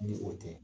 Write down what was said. Ni o tɛ